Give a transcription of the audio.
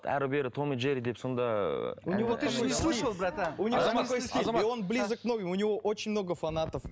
әрі бері том и джерри деп сонда у него другой стиль и он ближе у него очень много фанатов